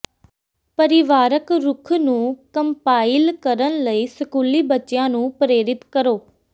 ਪਰਿਵਾਰਕ ਰੁੱਖ ਨੂੰ ਕੰਪਾਇਲ ਕਰਨ ਲਈ ਸਕੂਲੀ ਬੱਚਿਆਂ ਨੂੰ ਪ੍ਰੇਰਿਤ ਕਰੋ